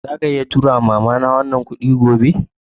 Zaka iya tura ma'mama na wannan kudi gobe?